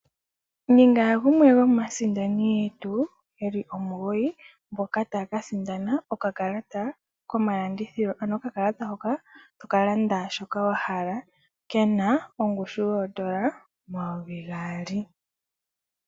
Ninga gumwe gomaasindani yetu yeli omugoyi mboka taya kasindana okakalata komalandithilo, ano okakalata hoka toka landa shoka wahala kena ongushu yoondola 2000.